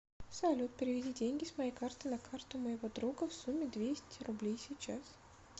салют переведи деньги с моей карты на карту моего друга в сумме двести рублей сейчас